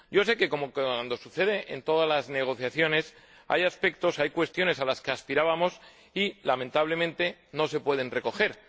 Yo sé que, como sucede en todas las negociaciones, hay cuestiones a las que aspirábamos y que, lamentablemente, no se pueden recoger.